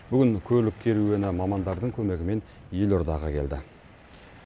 бүгін көлік керуені мамандардың көмегімен елордаға келді